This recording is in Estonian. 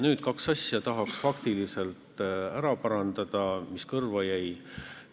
Nüüd tahaks parandada kahte faktilist asja, mis kõrvu jäid.